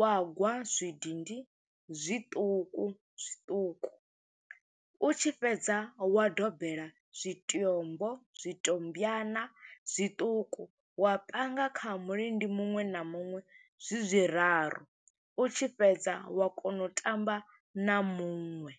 wa gwa zwidindi zwiṱuku zwiṱuku. U tshi fhedza, wa dobela zwitombo zwitombyana zwiṱuku, wa panga kha mulindi muṅwe na muṅwe, zwi zwi raru, u tshi fhedza wa kona u tamba na muṅwe.